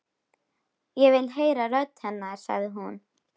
Ég vil heyra rödd hennar, sagði hún.